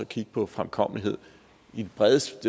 kigge på fremkommelighed i det bredest